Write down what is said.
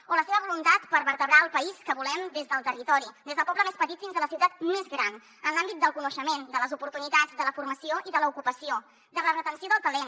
o la seva voluntat per vertebrar el país que volem des del territori des del poble més petit fins a la ciutat més gran en l’àmbit del coneixement de les oportunitats de la formació i de l’ocupació de la retenció del talent